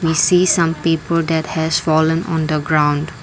we see some paper that has fallen on the ground.